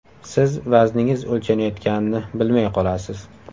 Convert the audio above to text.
Siz vazningiz o‘lchanayotganini bilmay qolasiz.